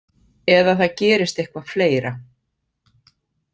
Eða það gerist eitthvað fleira.